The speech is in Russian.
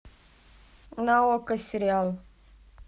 на окко сериал